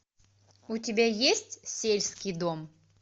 у тебя есть сельский дом